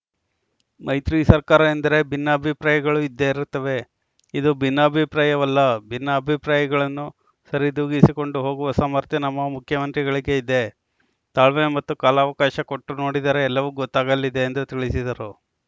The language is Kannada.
ಮೈತ್ರಿ ಸರ್ಕಾರ ಎಂದರೆ ಭಿನ್ನ ಅಭಿಪ್ರಾಯಗಳು ಇದ್ದೇ ಇರುತ್ತವೆ ಇದು ಭಿನ್ನಾಭಿಪ್ರಾಯವಲ್ಲ ಭಿನ್ನ ಅಭಿಪ್ರಾಯಗಳನ್ನು ಸರಿದೂಗಿಸಿಕೊಂಡು ಹೋಗುವ ಸಾಮರ್ಥ್ಯ ನಮ್ಮ ಮುಖ್ಯಮಂತ್ರಿಗಳಿಗೆ ಇದೆ ತಾಳ್ಮೆ ಮತ್ತು ಕಾಲಾವಕಾಶ ಕೊಟ್ಟು ನೋಡಿದರೆ ಎಲ್ಲವೂ ಗೊತ್ತಾಗಲಿದೆ ಎಂದು ತಿಳಿಸಿದರು